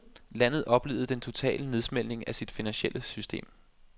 Landet oplevede den totale nedsmeltning af sit finansielle system,